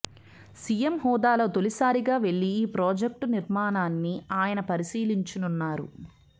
CM హోదాలో తొలిసారిగా వెళ్లి ఈ ప్రాజెక్టు నిర్మాణాన్ని ఆయన పరిశీలించనున్నారు